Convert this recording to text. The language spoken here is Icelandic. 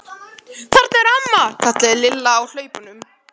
Þarna er amma! kallaði Lilla á hlaupunum.